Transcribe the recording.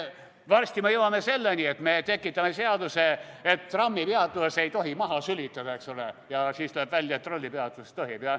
Varsti me jõuame selleni, et me tekitame seaduse, et trammipeatuses ei tohi maha sülitada, eks ole, ja siis tuleb välja, et trollipeatuses tohib.